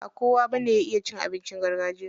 Ba kowa bane ya iya cin abincin gargajiya.